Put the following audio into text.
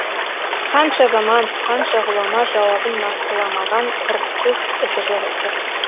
қанша заман қанша ғұлама жауабын нақтыламаған құрықсыз ізі жоқ есеп